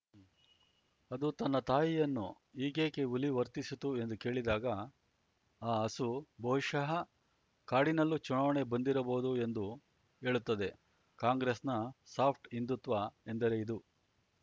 ಅದು ತನ್ನ ತಾಯಿಯನ್ನು ಹೀಗೇಕೆ ಹುಲಿ ವರ್ತಿಸಿತು ಎಂದು ಕೇಳಿದಾಗ ಆ ಹಸು ಬಹುಶಃ ಕಾಡಿನಲ್ಲೂ ಚುನಾವಣೆ ಬಂದಿರಬಹುದು ಎಂದು ಹೇಳುತ್ತದೆ ಕಾಂಗ್ರೆಸ್‌ನ ಸಾಫ್ಟ್‌ ಹಿಂದುತ್ವ ಎಂದರೆ ಇದು